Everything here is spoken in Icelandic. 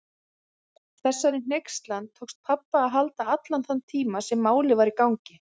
Þessari hneykslan tókst pabba að halda allan þann tíma sem Málið var í gangi.